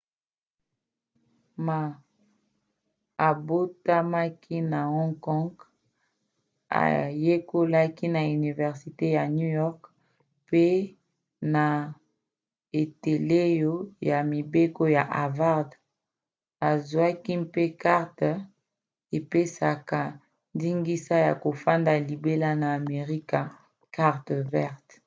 ma abotamaki na hong kong ayekolaka na universite ya new york mpe na eteyelo ya mibeko ya harvard azwaki mpe karte epesaka ndingisa ya kofanda libela na amerika karte ya vert